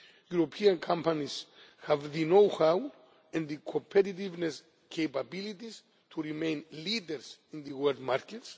economy. European companies have the know how and the competitiveness capabilities to remain leaders in the world